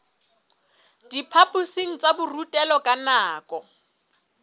diphaphosing tsa borutelo ka nako